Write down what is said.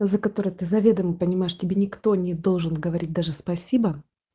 за которое ты заведомо понимаешь тебе никто не должен говорить даже спасибо